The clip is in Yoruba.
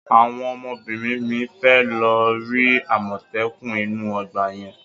Àwọn ọmọbìnrin mi fẹ́ lọ rí àmọ́tẹ́kùn inú ọgbà yẹn.